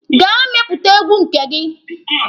Gaa mepụta egwu nke gị!